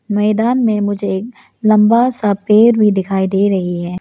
मैदान में मुझे एक लंबा सा पेड़ भी दिखाई दे रही है।